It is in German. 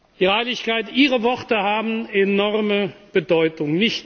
Ihre Heiligkeit, Ihre Worte haben enorme Bedeutung.